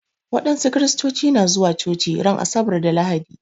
Wasu Kiristoci na zuwa coci ran asabar da lahadi